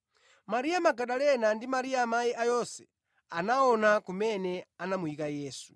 Mariya Magadalena ndi Mariya amayi a Yose anaona kumene anamuyika Yesu.